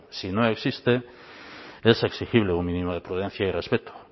si no existe es exigible un mínimo de prudencia y respeto